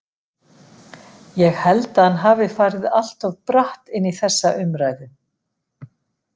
Ég held að hann hafi farið allt of bratt inn í þessa umræðu.